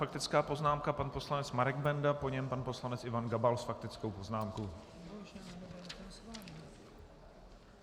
Faktická poznámka, pan poslanec Marek Benda, po něm pan poslanec Ivan Gabal s faktickou poznámkou.